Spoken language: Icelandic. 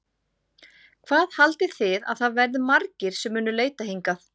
Hvað haldið þið að það verði margir sem munu leitað hingað?